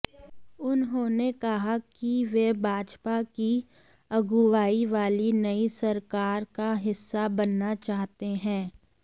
उन्होंने कहा कि वे भाजपा की अगुवाई वाली नई सरकार का हिस्सा बनना चाहते हैं